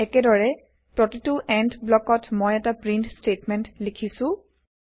একেদৰে প্ৰতিটো এণ্ড ব্লকত মই এটা প্ৰীন্ট স্তেটমেন্ট লিখিছো